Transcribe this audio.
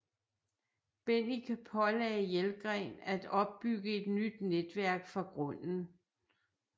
Bennike pålagde Jelgren at opbygge et nyt netværk fra grunden